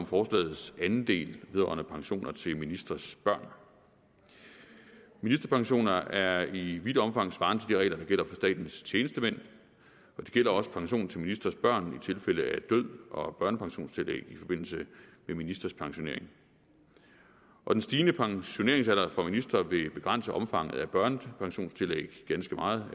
forslagets anden del vedrørende pensioner til ministres børn ministerpensioner er i vidt omfang svarende til de regler der gælder for statens tjenestemænd og det gælder også pension til ministres børn i tilfælde af død og børnepensionstillæg i forbindelse med ministres pensionering den stigende pensioneringsalder for ministre vil begrænse omfanget af børnepensionstillægget ganske meget